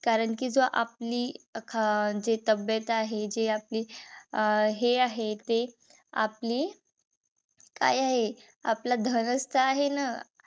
कारण कि जो आपली अह जे तब्येत आहे. जे आपली अं जे हे आहे ते आपली काय आहे. आपल धनच तर आहे ना.